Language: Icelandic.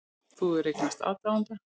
Þú hefur eignast aðdáanda.